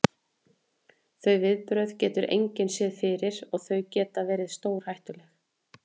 Þau viðbrögð getur engin séð fyrir og þau geta verið stórhættuleg.